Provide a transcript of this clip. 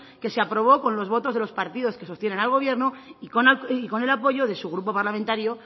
que se aprobó con los votos de los partidos que sostienen al gobierno y con el apoyo de su grupo parlamentario